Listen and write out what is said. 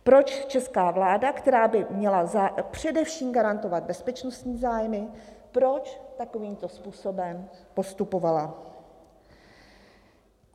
Proč česká vláda, která by měla především garantovat bezpečnostní zájmy, proč takovýmto způsobem postupovala.